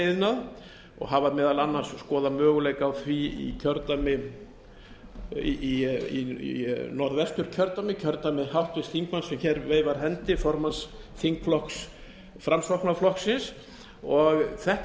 koltrefjaiðnað og hafa meðal annars skoðað möguleika á því í norðvesturkjördæmi kjördæmi háttvirts þingmanns sem hér veifar hendi formanns þingflokks framsóknarflokksins og þetta frumvarp